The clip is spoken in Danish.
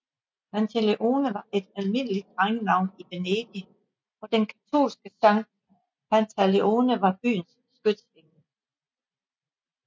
Pantalone var et almindeligt drengenavn i Venedig og den katolske San Pantaleone var byens skytshelgen